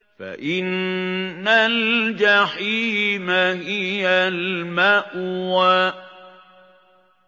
فَإِنَّ الْجَحِيمَ هِيَ الْمَأْوَىٰ